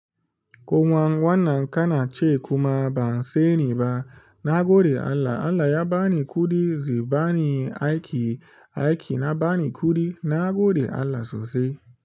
Koma wannan ka na ce kuma ba'n sani ba, na gode Allah, Allah ya ba ni kuɗi zai ba ni aiki, aiki na ba ni kuɗi, na gode Allah sosai.